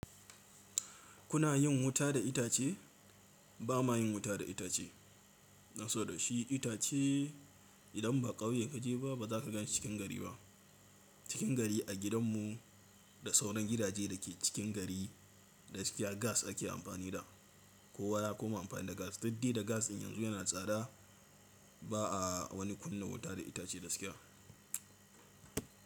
Kuna yin wuta da itace? Ba ma yin wuta da itace, dan saboda shi itace idan ba ƙauye kaje ba, ba za ka gan shi cikin gari ba. Cikin gari a gidan mu da sauran gidaje da ke cikin gari, gaskiya gas ake amfani da, kowa ya koma amfani da gas. Dudde da gas in yanzu yana tsada, ba a wani kunna wuta da itace gaskiya.